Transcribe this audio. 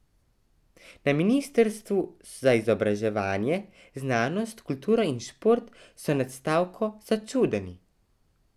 Na ministrstvu za izobraževanje, znanost, kulturo in šport so nad stavko začudeni.